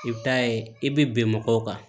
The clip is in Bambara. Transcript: I bɛ taa ye i bɛ bɛn mɔgɔw kan